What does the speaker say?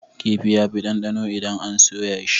Kifi yafi ɗanɗano idan an soya shi.